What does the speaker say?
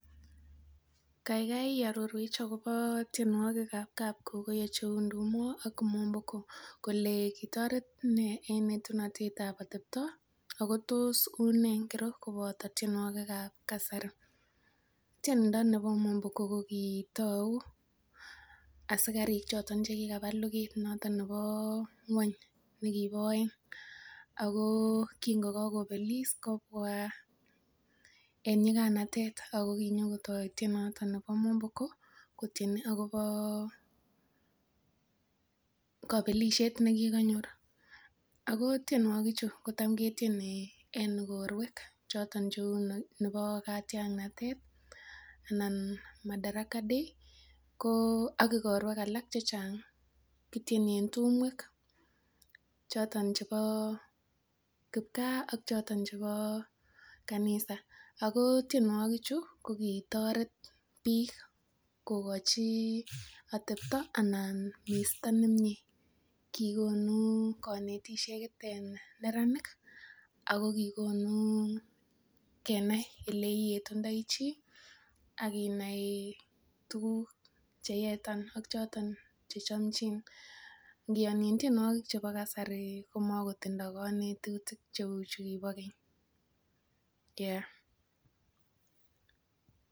Kaigai iarorwech akobo tienwokikab kapkokoyo cheu ndumo ak mwomboko kole kitoret nee eng etunetab atepto ako tos unee ngiro koboto tienwokikab kasari? Tiendo nebo mwomboko kokitou asikariik choton chekikaba luget noton nebo ngwony nekibo oeng ako kin ko kakobelis kobwa en nyiganatet ako kinyokotoo tienoton nebo mwomboko kotieni akobo kobelisiet nekikonyor ako tienwogik chu ko tam ketieni en igorwek choton cheu nebo katiangnatet anan Madaraka day ko ak igorwek alak chechang, kityeni en tumwek choton chebo kipgaa ak choton chebo kanisa ako tienwogik chu ko kitoret biik kokochi atepto ana misto nemie, kikonu konetisiet en neranik ako kikonu kenai eleyetundoi chi ak inai tuguk cheyetan ak choton chechomchin. Ngiyonchin tienwogikab kasari kimokotindoo konetutik cheu chukibo keny yeah